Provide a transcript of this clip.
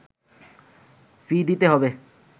ফি দিতে হবে